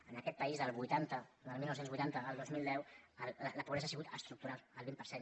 en aquest país del dinou vuitanta al dos mil deu la pobresa ha sigut estructural el vint per cent